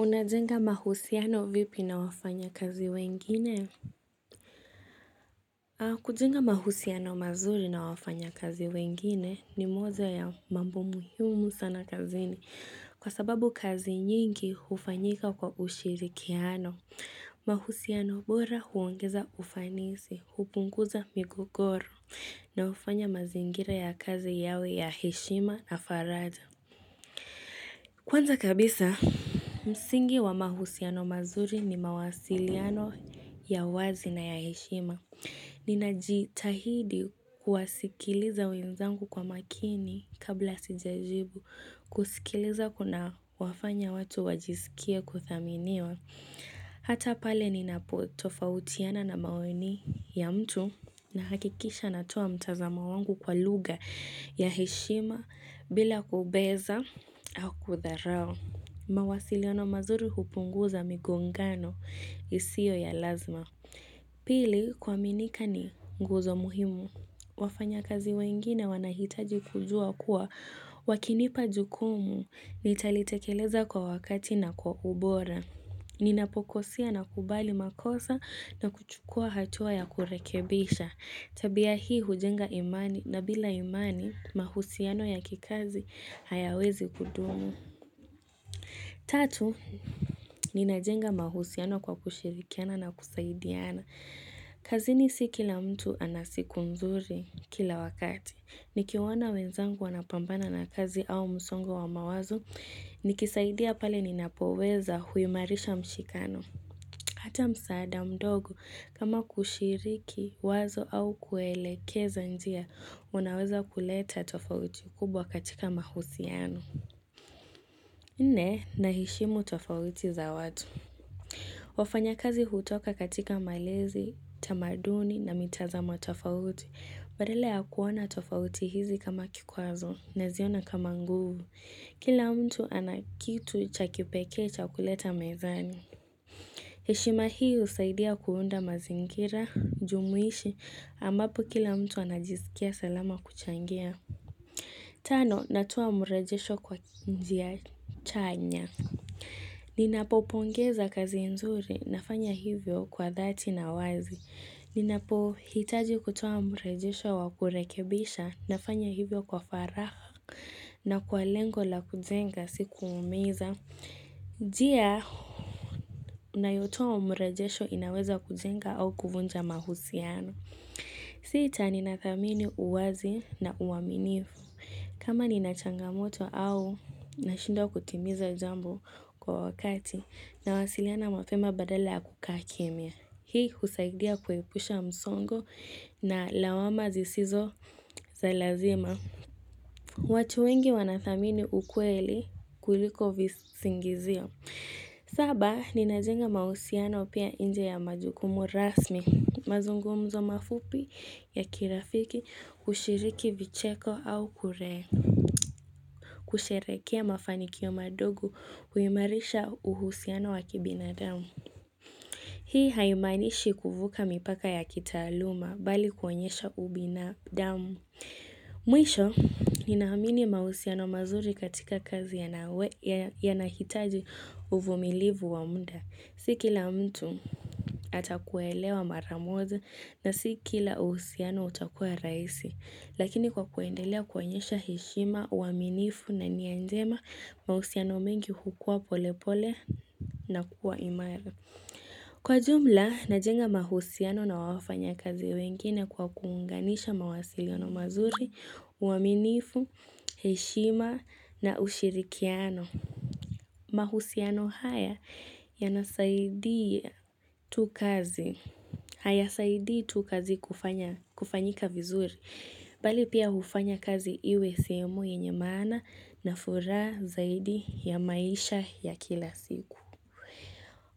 Unajenga mahusiano vipi na wafanya kazi wengine? Kujenga mahusiano mazuri na wafanya kazi wengine ni moja ya mambo muhimu sana kazini kwa sababu kazi nyingi hufanyika kwa ushirikiano. Mahusiano bora huongeza ufanisi, hupunguza migogoro na hufanya mazingira ya kazi yawe ya heshima na faraja. Kwanza kabisa, msingi wa mahusiano mazuri ni mawasiliano ya wazi na ya heshima. Ninajitahidi kuwasikiliza wenzangu kwa makini kabla sijajibu, kusikiliza kunawafanya watu wajisikie kuthaminiwa. Hata pale ninapo tofautiana na maoni ya mtu nahakikisha natoa mtazamo wangu kwa lugha ya heshima bila kubeza au kutharao. Mawasiliano mazuri hupunguza migongano isiyo ya lazima. Pili kuaminika ni nguzo muhimu. Wafanya kazi wengine wanahitaji kujua kuwa wakinipa jukumu nitalitekeleza kwa wakati na kwa ubora. Ninapokosea nakubali makosa na kuchukua hatua ya kurekebisha. Tabia hii hujenga imani na bila imani mahusiano ya kikazi hayawezi kudumu. Tatu, ninajenga mahusiano kwa kushirikiana na kusaidiana. Kazini si kila mtu ana siku nzuri kila wakati. Nikiwaona wenzangu wanapambana na kazi au msongo wa mawazo. Nikisaidia pale ninapoweza huimarisha mshikano. Hata msaada mdogo, kama kushiriki wazo au kuwaelekeza njia, wanaweza kuleta tofauti kubwa katika mahusiano. Nne naheshimu tofauti za watu. Wafanya kazi hutoka katika malezi, tamaduni na mitazamo tofauti. Badala ya kuona tofauti hizi kama kikwazo naziona kama nguvu. Kila mtu anakitu cha kipekee cha kuleta mezani. Heshima hii husaidia kuunda mazingira, jumuishi, ambapo kila mtu anajisikia salama kuchangia. Tano, natoa mrejesho kwa njia chanya. Ninapo pongeza kazi nzuri, nafanya hivyo kwa dhati na wazi. Ninapo hitaji kutoa mrejesho wa kurekebisha, nafanya hivyo kwa faraha, na kwa lengo la kujenga si kuumiza. Njia, unayotoa mrejesho inaweza kujenga au kuvunja mahusiano. Sita ninathamini uwazi na uaminifu. Kama nina changamoto au nashindwa kutimiza jambo kwa wakati, nawasiliana mapema badala ya kukaa kimya. Hii kusaidia kuepusha msongo na lawama zisizo za lazima. Watu wengi wanathamini ukweli kuliko visingizio. Saba, ninajenga mahusiano pia nje ya majukumu rasmi, mazungumzo mafupi ya kirafiki, kushiriki vicheko au kure, kusherehekea mafanikio madogo huimarisha uhusiano wa kibinadamu. Hii haimanishi kuvuka mipaka ya kitaaluma bali kuonyesha ubinadamu. Mwisho, ninaamini mahusiano mazuri katika kazi yanahitaji uvumilivu wa muda. Si kila mtu atakuelewa mara moja na si kila uhusiano utakua rahisi. Lakini kwa kuendelea kuonyesha heshima, uaminifu na nia njema, mahusiano mengi hukua polepole na kuwa imara. Kwa jumla, najenga mahusiano na wafanya kazi wengine kwa kuunganisha mawasiliano mazuri, uaminifu, heshima na ushirikiano. Mahusiano haya yanasaidia tu kazi, hayasaidii tu kazi kufanyika vizuri, bali pia hufanya kazi iwe sehemu yenye maana na furaha zaidi ya maisha ya kila siku.